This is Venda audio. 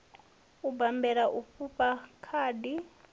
u bammbela u fhufha khadi